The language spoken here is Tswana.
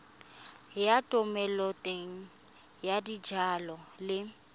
ya thomeloteng ya dijalo le